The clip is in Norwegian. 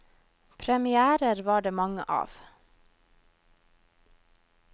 Premièrer var det mange av.